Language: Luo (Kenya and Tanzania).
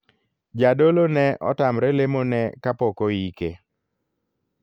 Jadolo ne otamre lemo ne kapok oike.